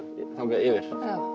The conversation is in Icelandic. þangað yfir